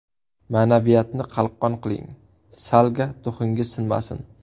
Ma’naviyatni qalqon qiling, Salga duxingiz sinmasin.